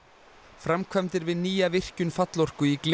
framkvæmdir við nýja virkjun Fallorku í